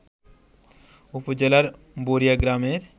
উপজেলার বরিয়া গ্রামের